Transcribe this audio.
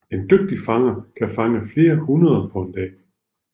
En dygtig fanger kan fange flere hundrede på en dag